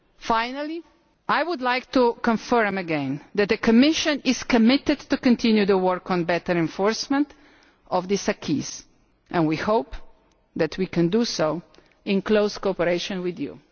Finally, I would like to confirm again that the Commission is committed to continue the work on better enforcement of this acquis and we hope that we can do so in close cooperation with you.